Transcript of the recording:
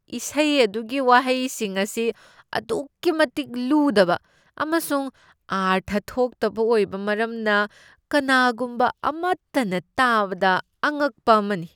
ꯏꯁꯩ ꯑꯗꯨꯒꯤ ꯋꯥꯍꯩꯁꯤꯡ ꯑꯁꯤ ꯑꯗꯨꯛꯀꯤ ꯃꯇꯤꯛ ꯂꯨꯗꯕ ꯑꯃꯁꯨꯡ ꯑꯔꯊ ꯊꯣꯛꯇꯕ ꯑꯣꯏꯕ ꯃꯔꯝꯅ ꯀꯅꯥꯒꯨꯝꯕ ꯑꯃꯠꯇꯅ ꯇꯥꯕꯗ ꯑꯉꯛꯄ ꯑꯃꯅꯤ꯫